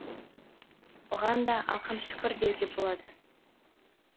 оған да алқам шүкір деуге болады